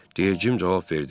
Deyingim cavab verdi.